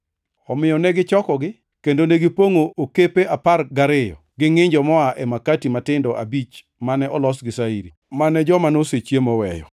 Omiyo negichokogi, kendo negipongʼo okepe apar gariyo gi ngʼinjo ma noa e makati matindo abich mane olos gi shairi, mane joma nosechiemo oweyo.